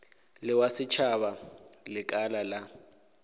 le wa setšhaba lekala la